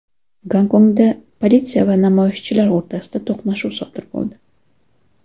Gonkongda politsiya va namoyishchilar o‘rtasida to‘qnashuv sodir bo‘ldi.